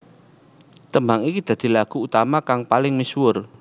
Tembang iki dadi lagu utama kang paling misuwur